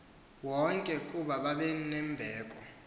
wonke kuba babenembeko